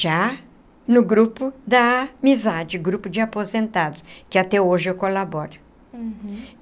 já no grupo da amizade, grupo de aposentados, que até hoje eu colaboro.